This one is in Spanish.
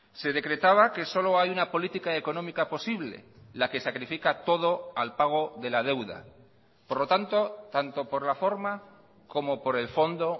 se decretaba que solo hay una política económica posible la que sacrifica todo al pago de la deuda por lo tanto tanto por la forma como por el fondo